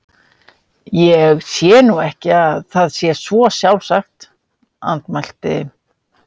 Ég sé nú ekki að það sé svo sjálfsagt- andmælti